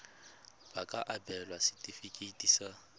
ba ka abelwa setefikeiti sa